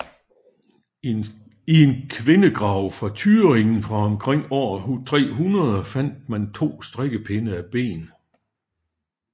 I en kvindegrav i Thüringen fra omkring år 300 fandt man to strikkepinde af ben